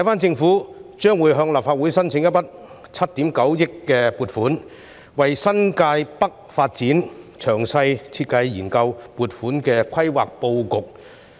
政府將會向立法會申請一筆7億 9,000 萬元的撥款，為新界北發展作詳細設計和研究撥款的規劃布局。